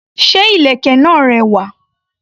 Ṣé ìlèkè náà rẹwà?